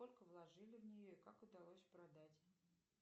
сколько вложили в нее и как удалось продать